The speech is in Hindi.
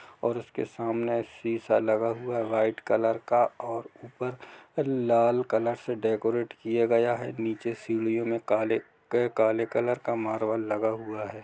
और उसके सामने सीसा लगा हुआ हैव्हाइट कलर का और ऊपर लाल कलर से डेकोरटे किया गया है नीचे सीडियों मे काले के काले कलर का मारवाल लगा हुआ है।